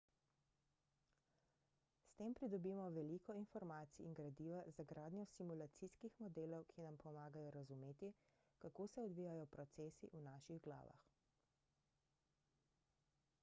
s tem pridobimo veliko informacij in gradiva za gradnjo simulacijskih modelov ki nam pomagajo razumeti kako se odvijajo procesi v naših glavah